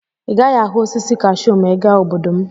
Ị gaghị ahụ osisi kashuu ma ị gaa obodo m.